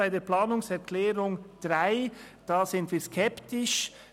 Bei der Planungserklärung 3 sind wir hingegen skeptisch.